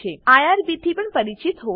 તમે આઇઆરબી થી પણ પરિચિત હોવા જોઈએ